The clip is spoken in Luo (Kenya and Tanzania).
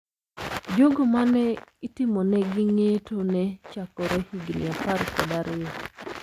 Jogo ma ne itimonegi ng`eto ne chakore higni apar kod ariyo.